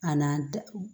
A n'a da